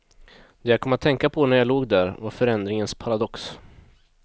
Det jag kom att tänka på när jag låg där, var förändringens paradox.